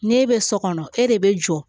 N'e bɛ so kɔnɔ e de bɛ jɔ